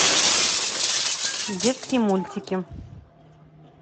детские мультики